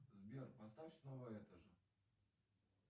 сбер поставь снова это же